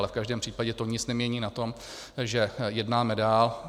Ale v každém případě to nic nemění na tom, že jednáme dál.